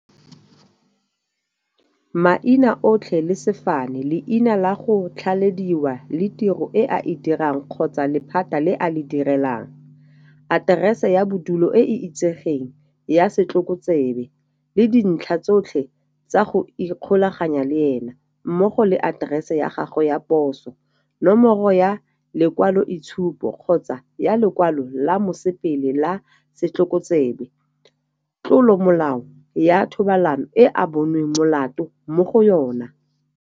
Maina otlhe le sefane, leina la go tlhalediwa le tiro e a e dirang kgotsa lephata le a le direlang, Aterese ya bodulo e e itsegeng ya setlhokotsebe, le dintlha tsotlhe tsa go ikgolaganya le ena, mmogo le aterese ya gagwe ya poso, Nomoro ya lekwaloitshupo kgotsa ya lekwalo la mosepele la setlhokotsebe, Tlolomolao ya thobalano e a bonweng molato mo go yona.